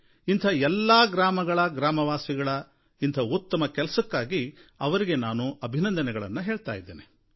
ಇಂಥ ಎಲ್ಲಾ ಗ್ರಾಮಗಳ ಜನತೆಯ ಇಂಥ ಉತ್ತಮ ಕೆಲಸಕ್ಕಾಗಿ ಅವರಿಗೆ ನಾನು ಅಭಿನಂದನೆಯನ್ನು ಹೇಳ್ತಾ ಇದ್ದೀನಿ